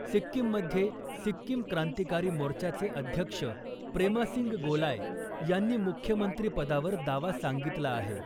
सिक्कीममध्ये सिक्कीम क्रांतीकारी मोर्चाचे अध्यक्ष प्रेमासिंग गोलाय यांनी मुख्यमंत्री पदावर दावा सांगितला आहे .